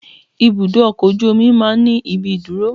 Ibùdó ọkọ̀ ojú omi máa ń ní ìdúró.